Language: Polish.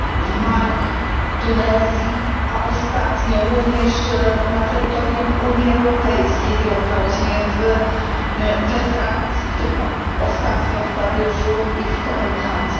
w Mali, Tunezji, a ostatnio również na terytorium Unii Europejskiej wielokrotnie, we Francji w tym ostatnio w Paryżu i w Kopenhadze.